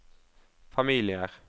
familier